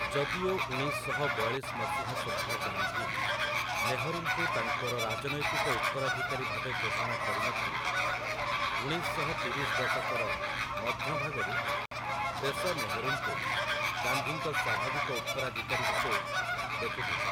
ଯଦିଓ ଉଣେଇଶ ଶହ ବୟାଳିଶ ମସିହା ସୁଦ୍ଧା ଗାନ୍ଧୀ, ନେହରୁଙ୍କୁ ତାଙ୍କର ରାଜନୈତିକ ଉତ୍ତରାଧିକାରୀ ଭାବେ ଘୋଷଣା କରିନଥିଲେ, ଉଣେଇଶ ଶହ ତିରିଶ ଦଶକର ମଧ୍ୟ ଭାଗରୁ ଦେଶ ନେହରୁଙ୍କୁ ଗାନ୍ଧୀଙ୍କ ସ୍ୱାଭାବିକ ଉତ୍ତରାଧିକାରୀ ଭାବେ ଦେଖୁଥିଲା ।